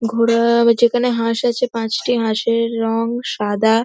ঘোড়া ও যেখানে হাঁস আছে পাঁচটি হাঁসের রং সাদা।